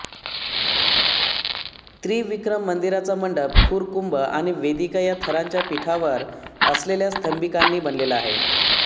त्रिविक्रम मंदिराचा मंडप खुर कुंभ आणि वेदिका या थरांच्या पीठावर असलेल्या स्तंभिकांनी बनलेला आहे